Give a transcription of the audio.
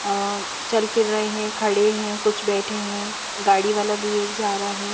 अ चल फिर रहे हैं खड़े हैं कुछ बैठे हैं गाड़ी वाला भी एक जा रहा है।